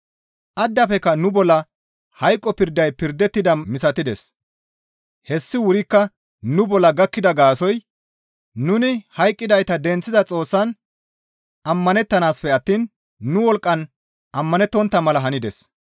Addafekka nu bolla hayqo pirday pirdettida misatides; hessi wurikka nu bolla gakkida gaasoykka nuni hayqqidayta denththiza Xoossan ammanettanaassafe attiin nu wolqqan ammanettontta mala hanides.